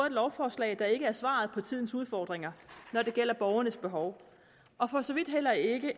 et lovforslag der ikke er svaret på tidens udfordringer når det gælder borgernes behov og for så vidt heller ikke